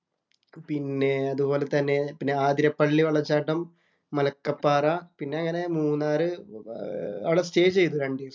പിന്നെ അതുപോലെ തന്നെ ആതിരപ്പള്ളി വെള്ളച്ചാട്ടം, മലക്കപ്പാറ, പിന്നെ അങ്ങനെ മൂന്നാറ്, അവിടെ സ്റ്റേ ചെയ്തു രണ്ടീസം.